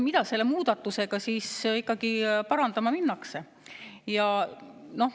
Mida selle muudatusega ikkagi parandama minnakse?